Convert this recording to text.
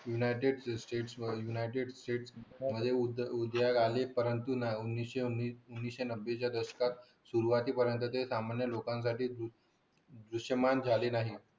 United state united state चे उद्योग आणि एकोणविशे नव्वद च्या दशकात सुरवातीला ते सामान्य लोका दुष्परिणाम झाले नाही